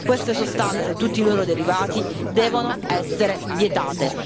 Queste sostanze e tutti i loro derivati devono essere vietati.